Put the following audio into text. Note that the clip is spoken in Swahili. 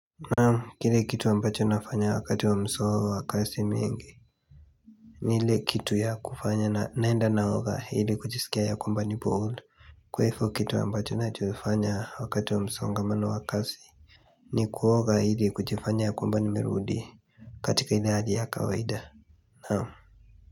Naam kile kitu ambacho nafanya wakati wa msao wakasi mienge Nin ile kitu ya kufanya na naenda naoga hili kuchisikia ya komba ni board Kwefo kitu ambacho na chufanya wakati wa msongamano wa kasi ni kuoga ili kuchifanya ya kwamba nimerudi katika hili haji ya kawaida Naamu.